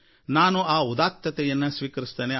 ನಾನು ಆ ಉದಾತ್ತತೆಯನ್ನು ಸ್ವೀಕರಿಸುತ್ತೇನೆ